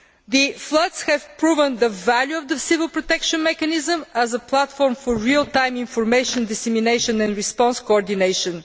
The floods have proven the value of the Civil Protection Mechanism as a platform for real time information dissemination and response coordination.